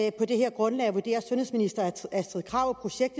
at på det her grundlag vurderer sundhedsminister astrid krag